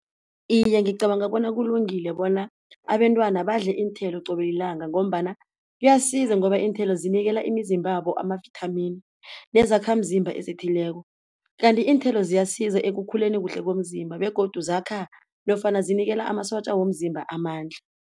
Iye ngicabanga bona kulungile bona abentwana badle iinthelo qobe yilanga ngombana kuyasiza ngoba iinthelo zinikela imizimbabo amavithamini, nezakhamzimba ezithileko. Kanti iinthelo ziyasiza ekukhuleni kuhle komzimba begodu zakha nofana zinikela amasotja womzimba amandla.